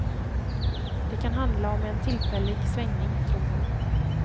Det kan handla om en tillfällig svängning, tror hon.